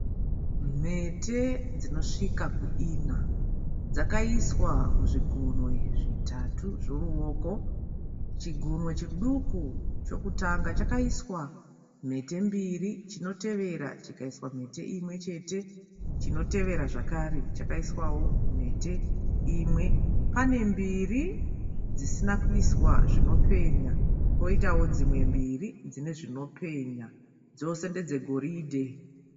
Mhete dzinosvika kuina dzakaiswa muzvigunwe zvitatu zvoruoko, chigunwe chiduku chokutanga chakaiswa mhete mbiri, chinotevera chikaiswa mhete imwe chete, chinotevera zvakare chakaiswawo mhete imwe pane mbiri dzisina kuiswa zvinopenya poitawo dzimwe mbiri dzine zvinopenya dzose ndedze goridhe.